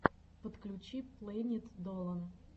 подключи плэнит долан